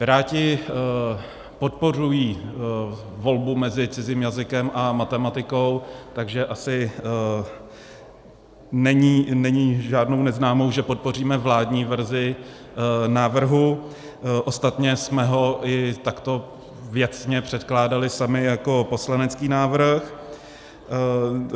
Piráti podporují volbu mezi cizím jazykem a matematikou, takže asi není žádnou neznámou, že podpoříme vládní verzi návrhu, ostatně jsme ho i takto věcně předkládali sami jako poslanecký návrh.